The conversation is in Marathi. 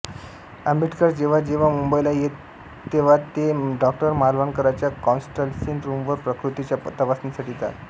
आंबेडकर जेव्हा जेव्हा मुंबईला येत तेव्हा ते डॉ मालवणकरांच्या कन्सल्टिंग रूमवर प्रकृतीच्या तपासणीसाठी जात